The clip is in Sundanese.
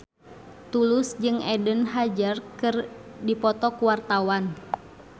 Tulus jeung Eden Hazard keur dipoto ku wartawan